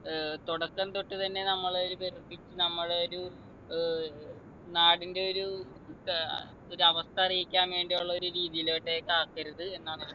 ഏർ തുടക്കം തൊട്ട് തന്നെ നമ്മൾ ഒരു വെറുപ്പി നമ്മളെ ഒരു ഏർ നാടിൻ്റെ ഒരു ഏർ ഒരവസ്ഥ അറിയിക്കാൻ വേണ്ടിയുള്ള ഒരു രീതിയിലോട്ടേക്ക് ആക്കരുത് എന്നാണ്